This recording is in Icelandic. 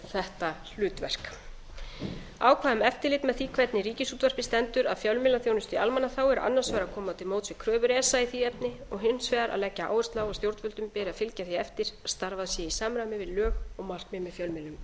þetta hlutverk ákvæði um eftirlit með því hvernig ríkisútvarpið stendur að fjölmiðlaþjónustu í almannaþágu er annars vegar að koma til móts við kröfur esa í því efni og hins vegar að leggja áherslu á að stjórnvöldum beri að fylgja því eftir að starfað sé